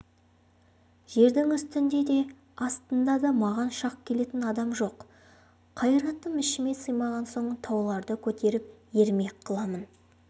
жердің үстінде де астында да маған шақ келетін адам жоқ қайратым ішіме сыймаған соң тауларды көтеріп ермек қыламын